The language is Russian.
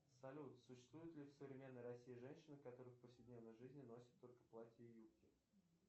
салют существуют ли в современной россии женщины которые в повседневной жизни носят только платья и юбки